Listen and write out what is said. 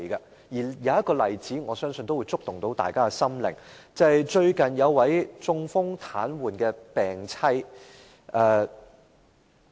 我相信有一個例子都能觸動大家的心靈，便是最近有關一位中風癱瘓病妻的個案。